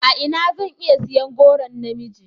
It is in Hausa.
A ina zan iya siyan goron na miji?